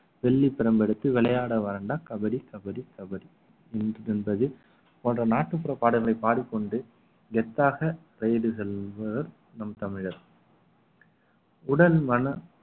வெள்ளி பிரம்மெடுத்து விளையாட வரேன்டா கபடி கபடி கபடி என்று என்பது போன்ற நாட்டுப்புற பாடல்களை பாடிக்கொண்டு கெத்தாக ride செல்வர் நம் தமிழர் உடல் மன